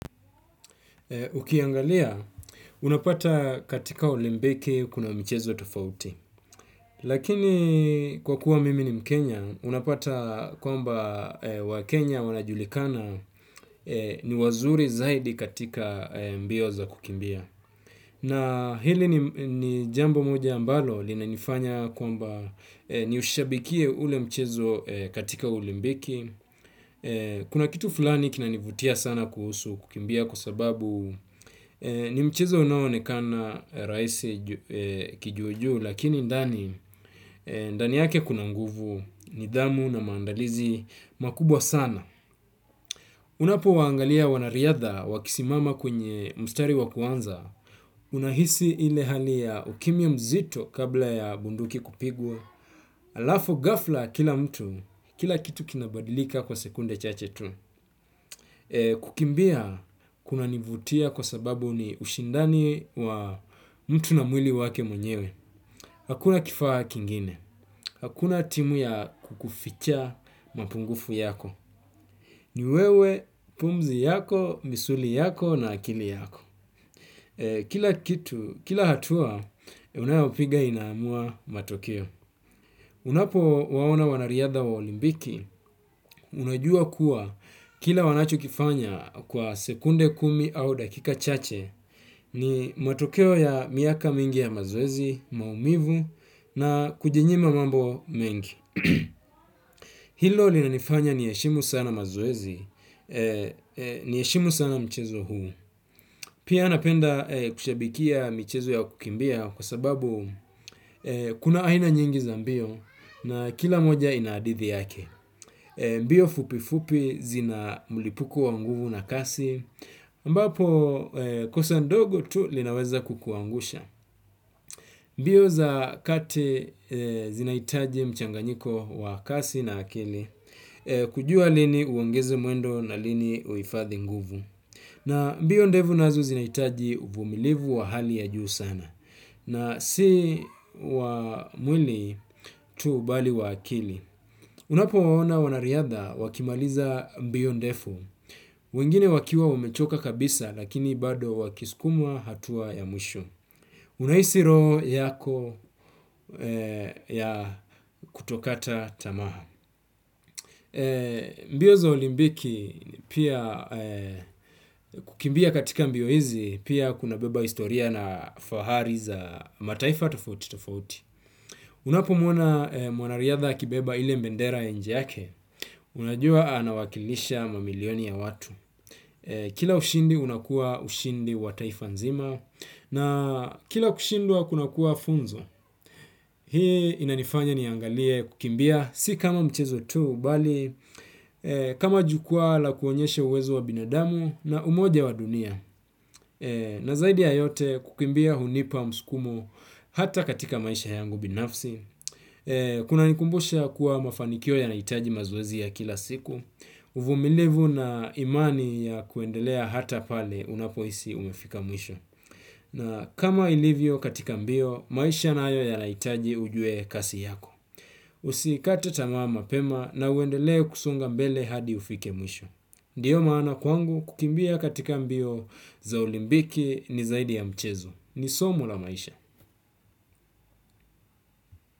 Ukiangalia, unapata katika olimpiki kuna mchezo tofauti. Lakini kwa kuwa mimi ni mkenya, unapata kwamba wa Kenya wanajulikana ni wazuri zaidi katika mbio za kukimbia. Na hili ni jambo moja ambalo, lina nifanya kwamba ni ushabikie ule mchezo katika olimpiki. Kuna kitu fulani kina nivutia sana kuhusu kukimbia kwa sababuu nimchezo unaonekana rahisi kijujuu lakini ndani ndani yake kuna nguvu nidhamu na maandalizi makubwa sana. Unapo waangalia wanariadha wakisimama kwenye mstari wa kuanza. Unahisi ile hali ya ukimya mzito kabla ya bunduki kupigwa. Alafu ghafla kila mtu kila kitu kinabadilika kwa sekunde chache tu. Kukimbia kuna nivutia kwa sababu ni ushindani wa mtu na mwili wake mwenyewe. Hakuna kifaa kingine. Hakuna timu ya kukuficha mapungufu yako. Ni wewe, pumzi yako, misuli yako na akili yako. Kila kitu, kila hatua, unayapiga inamua matokeo. Unapo waona wanariadha wa olimpiki unajua kuwa kila wanacho kifanya kwa sekunde kumi au dakika chache ni matokeo ya miaka mingi ya mazoezi, maumivu na kujinyima mambo mengi. Hilo li na nifanya ni heshimu sana mazoezi, ni heshimu sana mchezo huu. Pia napenda kushabikia michezo ya kukimbia kwa sababu kuna aina nyingi za mbio na kila moja ina hadithi yake. Mbio fupi fupi zina mlipuko wa nguvu na kasi. Mbapo kosa ndogo tu linaweza kukuangusha. Mbio za kate zinahitaji mchanganyiko wakasi na akili kujua lini uongeze mwendo na lini uhifathi nguvu. Na mbio ndevu nazo zinahitaji uvumilivu wa hali ya juu sana. Na si wa mwili tu bali wa akili. Unapowaona wanariadha wakimaliza mbio ndefu wengine wakiwa wamechoka kabisa lakini bado wakiskumwa hatua ya mwisho. Unahisi roho yako ya kutokata tamaa. Mbio za olimpiki pia kukimbia katika mbio hizi pia kuna beba historia na fahari za mataifa tofauti tofauti. Unapo mwona mwanariadha akibeba ile mbendera ya nji yake unajua anawakilisha mamilioni ya watu. Kila ushindi unakua ushindi wa taifa nzima. Na kila kushindwa kuna kuwa funzo. Hii inanifanya niangalie kukimbia si kama mchezo tuu bali kama jukwaa la kuonyesha uwezo wa binadamu na umoja wa dunia. Na zaidi ya yote kukimbia hunipa msukumo hata katika maisha yangu binafsi. Kuna nikumbusha kuwa mafanikio ya nahitaji mazoezi ya kila siku uvumilivu na imani ya kuendelea hata pale unapohisi umefika mwisho na kama ilivyo katika mbio maisha nayo yanahitaji ujue kasi yako. Usikate tamaa mapema na uendele kusonga mbele hadi ufike mwisho. Ndiyo maana kwangu kukimbia katika mbio za olimpiki ni zaidi ya mchezo. Ni somo la maisha.